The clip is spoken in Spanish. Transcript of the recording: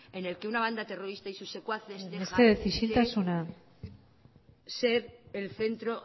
en el que una banda terrorista y sus secuaces mesedez isiltasuna ser el centro